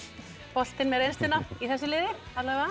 boltinn með reynsluna í þessu liði